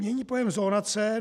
Mění pojem zonace.